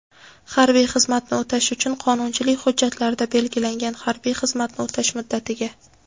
harbiy xizmatni o‘tash uchun — qonunchilik hujjatlarida belgilangan harbiy xizmatni o‘tash muddatiga;.